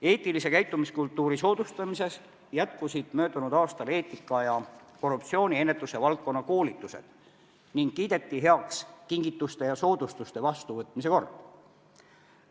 Eetilise käitumiskultuuri soodustamiseks jätkusid möödunud aastal eetikaalased ja korruptsiooni ennetuse koolitused ning kiideti heaks kingituste ja soodustuste vastuvõtmist reguleeriv kord.